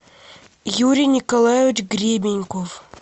юрий николаевич гребеньков